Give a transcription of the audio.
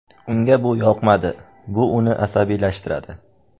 Unga bu yoqmaydi, bu uni asabiylashtiradi.